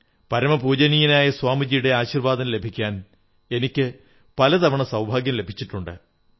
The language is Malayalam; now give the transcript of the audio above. പരമപൂജനീയനായ സ്വാമിജിയുടെ ആശീർവ്വാദം ലഭിക്കാൻ എനിക്ക് പലതവണ സൌഭാഗ്യം ലഭിച്ചിട്ടുണ്ട്